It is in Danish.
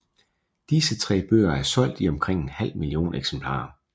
Disse tre bøger er solgt i omkring en halv million eksemplarer